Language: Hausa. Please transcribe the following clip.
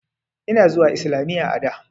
Ina zuwa islamiyya a da.